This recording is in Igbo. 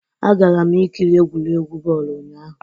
Agara m ikiri egwuregwu bọọlụ ụnyahụ'